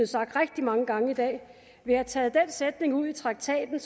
sagt rigtig mange gange i dag vil have taget den sætning ud af traktaten